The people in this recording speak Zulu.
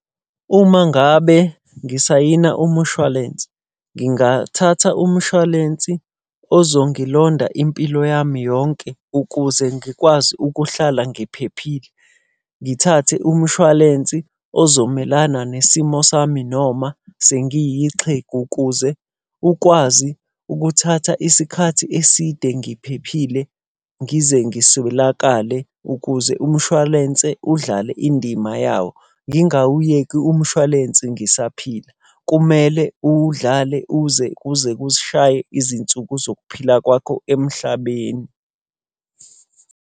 Uma ngabe ngisayina umushwalense, ngingathatha umushwalensi ozongilonda impilo yami yonke ukuze ngikwazi ukuhlala ngiphephile. Ngithathe umshwalensi ozomelana nesimo sami noma sengiyixhegu ukuze ukwazi ukuthatha isikhathi eside ngiphephile, ngize ngiswelakale ukuze umshwalense udlale indima yawo. Ngingawuyeki umshwalense ngisaphila. Kumele uwudlale uze kuze kushaye izinsuku zokuphila kwakho emhlabeni.